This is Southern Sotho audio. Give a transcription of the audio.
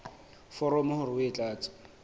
foromo hore o e tlatse